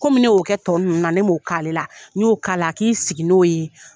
Komi ne y'o kɛ tɔ ninnu na ne m'o k'ale la n y'o k'ala a k'i sigi n'o ye.